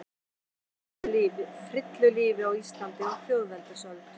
Frillulífi á Íslandi á þjóðveldisöld.